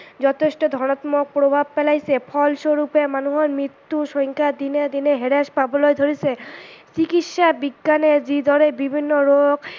যথেষ্ট ধনাত্মক প্ৰভাৱ পেলাইছে ফলস্বৰূপে মানুহৰ মৃত্যুৰ সংক্ষা দিনে দিনে হ্ৰাস পাবলৈ ধৰিছে, চিকিৎসা বিজ্ঞানে যিদৰে বিভিন্ন ৰোগ